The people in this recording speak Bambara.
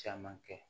Caman kɛ